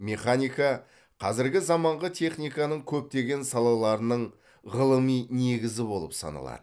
механика қазіргі заманғы техниканың көптеген салаларының ғылыми негізі болып саналады